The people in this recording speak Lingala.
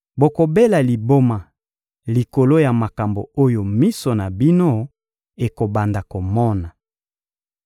Bokobela liboma likolo ya makambo oyo miso na bino ekobanda komona.